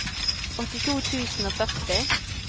åttito tusen og førti